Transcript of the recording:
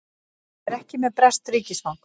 Hann er ekki með breskt ríkisfang